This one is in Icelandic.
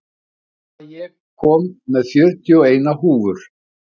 Tala, ég kom með fjörutíu og eina húfur!